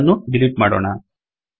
ಇದನ್ನು ಡಿಲೀಟ್ ಮಾಡೋಣ